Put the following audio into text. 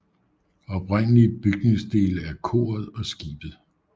Oprindelige bygningsdele er koret og skibet